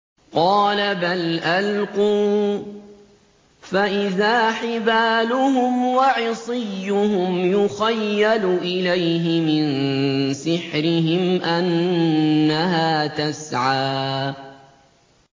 قَالَ بَلْ أَلْقُوا ۖ فَإِذَا حِبَالُهُمْ وَعِصِيُّهُمْ يُخَيَّلُ إِلَيْهِ مِن سِحْرِهِمْ أَنَّهَا تَسْعَىٰ